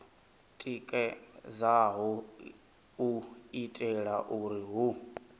tikedzaho u itela uri hu